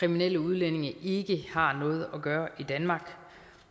kriminelle udlændinge ikke har noget at gøre i danmark